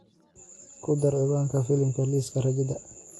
ku dar cinwaanka filimka liiska rajada